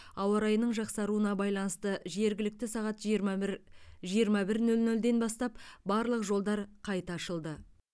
ауа райының жақсаруына байланысты жергілікті сағат жиырма бір жиырма бір нөл нөлден бастап барлық жолдар қайта ашылды